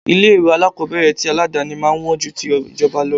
Ilé ìwé alákòbẹ̀rẹ̀ ti aládàni máa ń wọn ju ti ìjọba lọ.